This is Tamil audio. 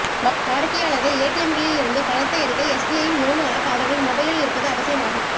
வாடிக்கையாளர்கள் ஏடிஎம்களில் இருந்து பணத்தை எடுக்க எஸ்பிஐ யின் யோனோ ஆப் அவர்களின் மொபைலில் இருப்பது அவசியம் ஆகும்